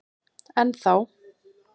Enn þá.